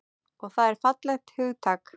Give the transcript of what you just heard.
Og það er fallegt hugtak.